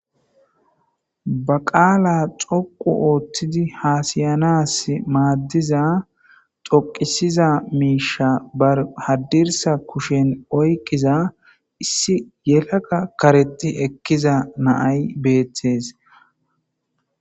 Ba qala dhoqu othidi hasayanas madiza qala dhoqisiza misha hadirsa kusheni oyqiza issi yelaga karexi ekiza na'ay betes.